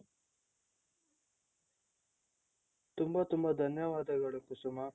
ತುಂಬಾ ತುಂಬಾ ಧನ್ಯವಾದಗಳು ಕುಸುಮಾ